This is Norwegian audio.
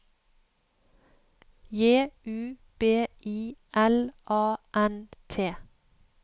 J U B I L A N T